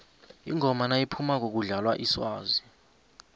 ingoma nayiphumako kudlalwa iswazi